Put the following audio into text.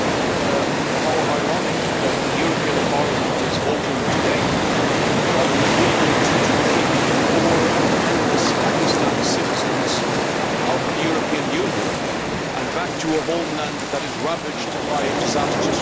How ironic that the European Parliament is voting today on an agreement to kick poor and penniless Pakistani citizens out of the European Union and back to a homeland that is ravaged by disastrous flooding.